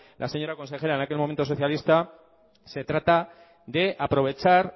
la señora consejera en aquel momento socialista se trata de aprovechar